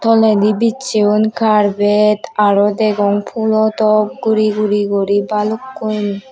toledi biccheyon karpet aro degong phulo top guri guri guri balukkun.